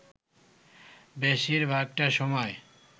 বেশির ভাগটা সময়